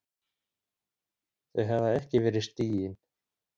Þau hafa ekki verið stigin.